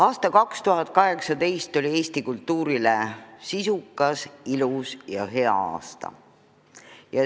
Aasta 2018 oli Eesti kultuurile sisukas, ilus ja hea aasta.